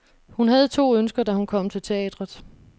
Hun havde to ønsker, da hun kom til teatret.